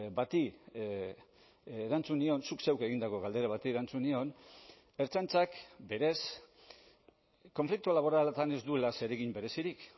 bati erantzun nion zuk zeuk egindako galdera bati erantzun nion ertzaintzak berez konflikto laboraletan ez duela zeregin berezirik